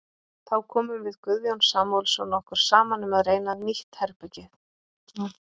Þá komum við Guðjón Samúelsson okkur saman um að reyna nýtt herbragð.